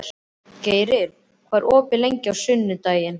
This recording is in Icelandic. Geiri, hvað er opið lengi á sunnudaginn?